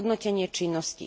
hodnotenie činnosti.